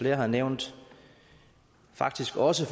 har nævnt faktisk også